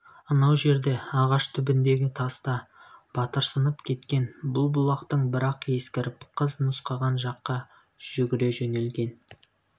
анау жерде ағаш түбіндегі таста батырсынып кеткен бұл бұлақтан бір-ақ ескіріп қыз нұсқаған жаққа жүгір жөнелген